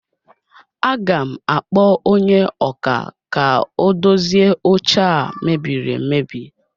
Aga m akpọ onye ọkà ka o dozie oche a mebiri emebi